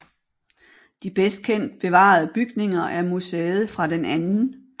De bedst kendt bevarede bygninger er museet fra den 2